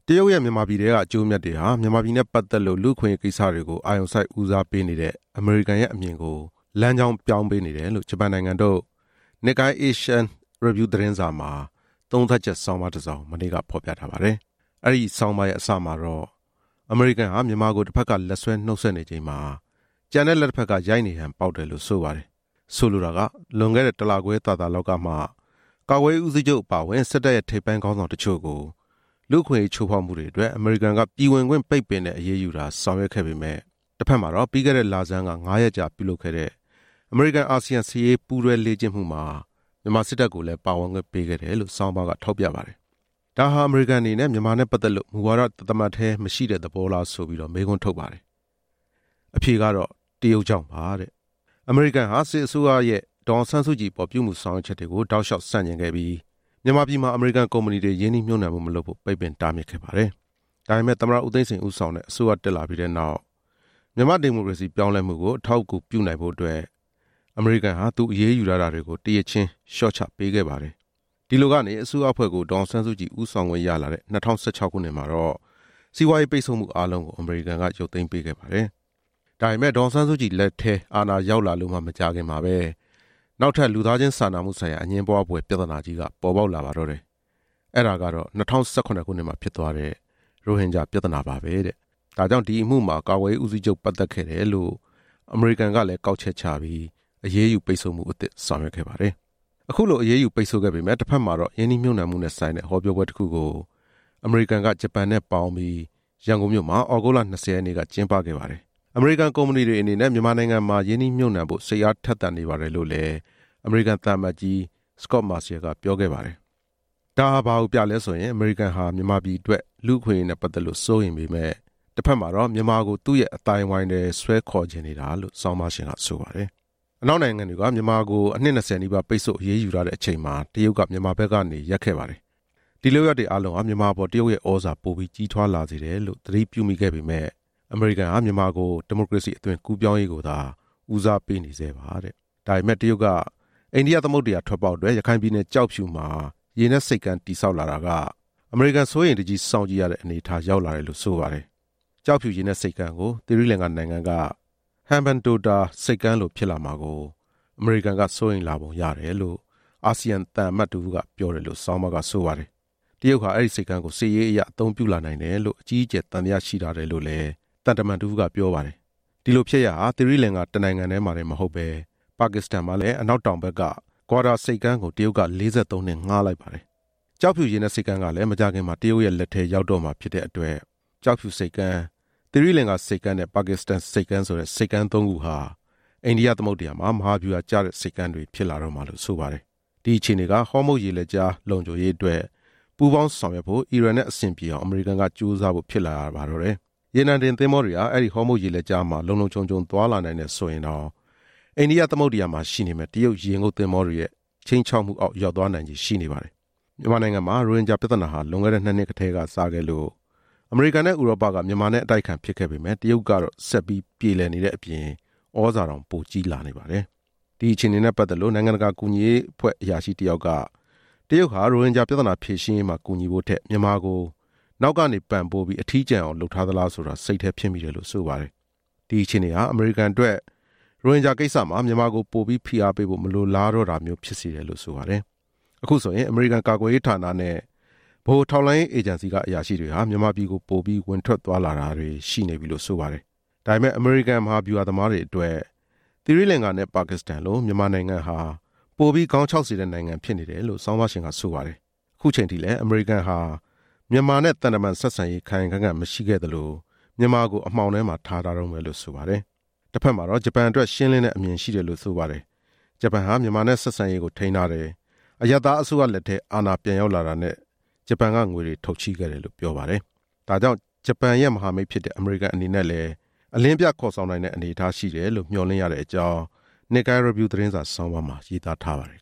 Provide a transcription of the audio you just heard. တရုတ်ရဲ့ မြန်မာပြည်ထဲက အကျိုးအမြတ်တွေဟာ၊ မြန်မာပြည်နဲ့ပတ်သက်လို့ လူ့အခွင့်အရေးကိစ္စတွေကို အာရုံစိုက်ဦးစားပေးနေတဲ့ အမေရိကန်ရဲ့အမြင်ကို လမ်းကြောင်းပြောင်းပေးနေတယ်လို့ ဂျပန်နိုင်ငံထုတ် Nikkei Asian Review သတင်းစာမှာ သုံးသပ်ချက်ဆောင်းပါးတစ်စောင် မနေ့ကဖော်ပြထားပါတယ်။ အဲဒီဆောင်းပါးရဲ့အစမှာတော့ အမေရိကန်ဟာ မြန်မာကို တစ်ဘက်က လက်ဆွဲနှုတ်ဆက်နေချိန်မှာ၊ ကျန်တဲ့လက် တစ်ဘက်က ရိုက်နေဟန်ပေါက်တယ်လို့ ဆိုပါတယ်။ ဆိုလိုတာက လွန်ခဲ့တဲ့ တစ်လခွဲသာသာလောက်ကမှ ကာကွယ်ရေးဦးစီးချုပ်အပါအဝင် စစ်တပ်ရဲ့ ထိပ်ပိုင်းခေါင်းဆောင်တချို့ကို လူ့အခွင့်အရေးချိုးဖောက်မှုတွေအတွက် အမေရိကန်က ပြည်ဝင်ခွင့်ပိတ်ပင်တဲ့ အရေးယူတာဆောင်ရွက်ခဲ့ပေမယ့်၊ တစ်ဘက်မှာတော့ ပြီးခဲ့တဲ့လဆန်းက ငါးရက်ကြာပြုလုပ်ခဲ့တဲ့ အမေရိကန်-အာဆီယံစစ်ရေးပူးတွဲ လေ့ကျင့်မှုမှာ မြန်မာစစ်တပ်ကိုလည်း ပါဝင်ခွင့် ပေးခဲ့တယ်လို့ ဆောင်းပါးက ထောက်ပြပါတယ်။ ဒါဟာ အမေရိကန်အနေနဲ့ မြန်မာနဲ့ပတ်သက်လို့ မူဝါဒ တစ်သမတ်တည်းမရှိတဲ့ သဘောလားဆိုပြီးတော့ မေးခွန်းထုတ်ပါတယ်။ အဖြေကတော့ တရုတ်ကြောင့်ပါတဲ့။ အမေရိကန်ဟာ မြန်မာစစ်အစိုးရရဲ့ ဒေါ်အောင်ဆန်းစုကြည်အပေါ် ပြုမူဆောင်ရွက်ချက်တွေကို တောက်လျှောက် ဆန့်ကျင်ခဲ့ပြီး၊ မြန်မာပြည်မှာ အမေရိကန်ကုမ္ပဏီတွေ ရင်းနှီးမြှုပ်နှံမှုမလုပ်ဖို့ ပိတ်ပင် တားမြစ်ခဲ့ပါတယ်။ ဒါပေမဲ့ သမ္မတ ဦးသိန်းစိန် ဦးဆောင်တဲ့အစိုးရ တက်လာပြီးတဲ့နောက် မြန်မာ့ ဒီမိုကရေစီပြောင်းလဲမှုကို အထောက်အကူ ပြုနိုင်ဖို့အတွက် အမေရိကန်ဟာ သူအရေးယူထားတာတွေ ကို တစ်ရစ်ချင်း လျှော့ချပေးခဲ့ပါတယ်တဲ့။ ဒီလိုကနေ အစိုးရအဖွဲ့ကို ဒေါ်အောင်ဆန်းစုကြည် ဦးဆောင်ခွင့်ရလာတဲ့ ၂၀၁၆ ခုနှစ်မှာတော့ စီးပွားရေးပိတ်ဆို့မှု အားလုံးကို အမေရိကန်က ရုပ်သိမ်းပေးခဲ့ပါတယ်။ ဒါပေမဲ့ ဒေါ်အောင်ဆန်းစုကြည် လက်ထဲအာဏာရောက်လာလို့မှ မကြာခင်မှာပဲ နောက်ထပ် လူသားချင်းစာနာမှုဆိုင်ရာ အငြင်းပွားဖွယ် ပြဿနာကြီးက ပေါ်ပေါက်လာပါတော့တယ်။ အဲဒါကတော့ ၂၀၁၇ ခုနှစ်မှာဖြစ်သွားတဲ့ ရိုဟင်ဂျာပြဿနာပါပဲတဲ့။ ဒါကြောင့် ဒီအမှုမှာ ကာကွယ်ရေးဦးစီးချုပ် ပတ်သက်ခဲ့တယ်လို့ အမေရိကန်ကလည်း ကောက်ချက်ချပြီး အရေးယူပိတ်ဆို့မှုအသစ် ဆောင်ရွက်ခဲ့ပါတယ်။ အခုလို အရေးယူပိတ်ဆို့ခဲ့ပေမယ့် တစ်ဘက်မှာတော့ ရင်းနှီးမြှုပ်နှံမှုနဲ့ဆိုင်တဲ့ ဟောပြောပွဲတစ်ခုကို အမေရိကန်က ဂျပန်နဲ့ပေါင်းပြီး ရန်ကုန်မြို့မှာ သြဂုတ်လ ၂၀ ရက်နေ့က ကျင်းပခဲ့ပါတယ်။ အမေရိကန်ကုမ္ပဏီတွေအနေနဲ့ မြန်မာနိုင်ငံမှာ ရင်းနှီးမြှုပ်နှံဖို့ စိတ်အားထက်သန်နေပါတယ်လို့ အမေရိကန်သံအမတ်ကြီး စကော့မာဆီရယ်က ပြောခဲ့ပါတယ်။ ဒါဟာဘာကိုပြလဲဆိုရင်၊ အမေရိကန်ဟာ မြန်မာပြည်အတွက် လူ့အခွင့်အရေးနဲ့ပတ်သက်လို့ စိုးရိမ်ပေမယ့်၊ တစ်ဘက်မှာတော့ မြန်မာကို သူ့ရဲ့အသိုင်းအဝိုင်းထဲ ဆွဲခေါ်ချင်နေတာလို့ ဆောင်းပါးရှင်က ဆိုပါတယ်။ အနောက်နိုင်ငံတွေက မြန်မာကို အနှစ်နှစ်ဆယ်နီးပါး ပိတ်ဆို့အရေးယူထားတဲ့အချိန်မှာ တရုတ်က မြန်မာဘက်ကနေ ရပ်ခဲ့ပါတယ်။ ဒီလုပ်ရပ်တွေအားလုံးဟာ မြန်မာအပေါ် တရုတ်ရဲ့ သြဇာပိုပြီးကြီးထွားလာစေတယ်လို့ သတိပြုမိခဲ့ပေမယ့်၊ အမေရိကန်ဟာ မြန်မာကို ဒီမိုကရေစီအသွင်ကူးပြောင်းရေးကိုသာ ဦးစားပေးနေဆဲပါတဲ့။ ဒါပေမဲ့ တရုတ်က အိန္ဒိယသမုဒ္ဒရာထွက်ပေါက်အတွက် ရခိုင်ပြည်နယ် ကျောက်ဖြူမှာ ရေနက်ဆိပ်ကမ်း တည်ဆောက်လာတာက အမေရိကန်စိုးရိမ်တကြီး စောင့်ကြည့်ရတဲ့ အနေအထားရောက် လာတယ်လု့ိဆိုပါတယ်။ ကျောက်ဖြူရေနက်ဆိပ်ကမ်းကို သီရိလင်္ကာနိုင်ငံက ဟမ်ဘန်တိုတာ ဆိပ်ကမ်းလိုဖြစ်လာမှာကို အမေရိကန်က စိုးရိမ်လာပုံရတယ်လို့ အာဆီယံသံ အမတ်တစ်ဦးက ပြောတယ်လို့ ဆောင်းပါးကဆိုပါတယ်။ "တရုတ်ဟာ အဲဒီဆိပ်ကမ်းကို စစ်ရေးအရ အသုံးပြုလာနိုင် တယ်လို့ အကြီးအကျယ် သံသယရှိထားတယ်" လို့လည်း သံတမန်တစ်ဦးက ပြောပါတယ်။ ပါကစ္စတန်မှာလည်း အနောက်တောင်ဘက်က ဂွာဒါဆိပ်ကမ်းကို တရုတ်က ၄၃ နှစ် ငှားလိုက်ပါတယ်။ ကျောက်ဖြူရေနက်ဆိပ်ကမ်းကလည်း မကြာခင်မှာ တရုတ်ရဲ့လက်ထဲ ရောက်တော့မှာဖြစ်တဲ့အတွက် ကျောက်ဖြူဆိပ်ကမ်း၊ သီရိလင်္ကာဆိပ်ကမ်းနဲ့ ပါကစ္စတန်ဆိပ်ကမ်းဆိုတဲ့ ဆိပ်ကမ်း သုံးခုဟာ အိန္ဒိယသမုဒ္ဒရာမှာ မဟာဗျူဟာကျတဲ့ ဆိပ်ကမ်းတွေဖြစ်လာတော့မှာလို့ ဆိုပါတယ်။ ဒီအခြေအနေက ဟောမုတ်ရေလက်ကြား လုံခြုံရေးအတွက် ပူးပေါင်းဆောင်ရွက်ဖို့ အီရန်နဲ့ အဆင်ပြေအောင် အမေရိကန်က ကြိုးစားဖို့ဖြစ်လာရပါတော့တယ်။ ရေနံတင်သင်္ဘောတွေဟာ အဲဒီ ဟောမုတ်ရေလက်ကြားမှာ လုံလုံခြုံခြုံ သွားလာနိုင်တယ်ဆိုရင်တောင် အိန္ဒိယသမုဒ္ဒရာမှာရှိနေမယ့် တရုတ်ရေငုတ်သင်္ဘောတွေရဲ့ ခြိမ်းခြောက်မှုအောက် ရောက်သွားနိုင်ချေရှိနေပါတယ်။ မြန်မာနိုင်ငံမှာ ရိုဟင်ဂျာပြဿနာဟာ လွန်ခဲ့တဲ့ နှစ်နှစ်ကတည်းကစခဲ့လို့ အမေရိကန်နဲ့ ဥရောပက မြန်မာနဲ့ အတိုက်အခံဖြစ်ခဲ့ပေမယ့် တရုတ်ကတော့ ဆက်ပြေလည်နေတဲ့အပြင် သြဇာတောင် ပိုကြီးလာနေပါတယ်။ ဒီအခြေအနေနဲ့ပတ်သက်လို့ နိုင်ငံတကာ ကူညီရေးအဖွဲ့ အရာရှိတစ်ယောက်က "တရုတ်ဟာ ရိုဟင်ဂျာ ပြဿနာ ဖြေရှင်းရေးမှာ ကူညီဖို့ထက် မြန်မာကို နောက်ကနေပံ့ပိုးပြီး အထီးကျန်အောင် လုပ်ထားသလားဆိုတာ စိတ်ထဲဖြစ်မိတယ်" လို့ဆိုပါတယ်။ ဒီအခြေအနေဟာ အမေရိကန်အတွက် ရိုဟင်ဂျာကိစ္စမှာ မြန်မာကိုပိုပြီး ဖိအားပေးဖို့ မလိုလားတော့တာမျိုး ဖြစ်စေတယ်လို့ ဆိုပါတယ်။ အခုဆိုရင် အမေရိကန်ကာကွယ်ရေးဌာနဲ့ ဗဟိုထောက်လှမ်းရေး အေဂျင်စီက အရာရှိတွေဟာ မြန်မာပြည်ကို ပိုပြီးဝင်ထွက်သွားလာတာတွေ ရှိနေပြီလို့ဆိုပါတယ်။ ဒါပေမဲ့ အမေရိကန် မဟာဗျူဟာ သမားတွေအတွက် သီရိလင်္ကာနဲ့ ပါကစ္စတန်လို မြန်မာနိုင်ငံဟာ ပိုပြီးခေါင်းခြောက်စေတဲ့ နိုင်ငံဖြစ်နေတယ်လို့ ဆောင်းပါးရှင်က ဆိုပါတယ်။ အခုချိန်ထိလည်း အမေရိကန်ဟာ မြန်မာနဲ့သံတမန် ဆက်ဆံရေး ခိုင်ခိုင်ခံ့ခံ့မရှိခဲ့သလို မြန်မာကို အမှောင်ထဲမှာ ထားထားတုန်းပဲလို့ ဆိုပါတယ်။ တစ်ဘက်မှာတော့ ဂျပန်အတွက် ရှင်းလင်းတဲ့အမြင်ရှိတယ်လို့ ဆိုပါတယ်။ ဂျပန်ဟာ မြန်မာနဲ့ဆက်ဆံရေးကို ထိန်းထားတယ်။ အရပ်သားအစိုးရလက်ထဲ အာဏာပြန်ရောက်လာတာနဲ့ ဂျပန်က ငွေတွေထုတ်ချေးခဲ့တယ် လို့ ဆိုပါတယ်။ ဒါကြောင့် ဂျပန်ရဲ့ မဟာမိတ်ဖြစ်တဲ့ အမေရိကန်အနေနဲ့လည်း အလင်းပြခေါ်ဆောင်နိုင်တဲ့ အနေအထားရှိတယ်လို့ မျှော်လင့်ရတဲ့အကြောင်း နစ်ကိုင်းရီဗျူးသတင်းစာဆောင်းပါးမှာ ရေးသားထားပါတယ်